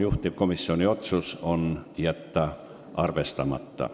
Juhtivkomisjoni otsus: jätta arvestamata.